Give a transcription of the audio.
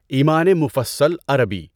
ایمانِ مُفَصَّل عربی